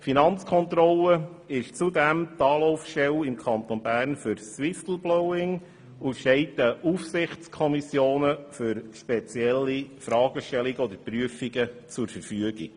Die Finanzkontrolle ist zudem im Kanton Bern die Anlaufstelle für Whistleblowing und steht den Aufsichtskommissionen für spezielle Fragestellungen oder Prüfungen zur Verfügung.